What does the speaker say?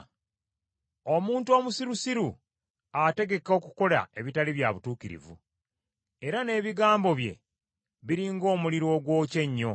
Omuntu omusirusiru ategeka okukola ebitali bya butuukirivu, era n’ebigambo bye, biri ng’omuliro ogwokya ennyo.